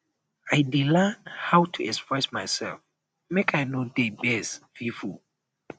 i dey learn how to express myself make i no dey vex pipo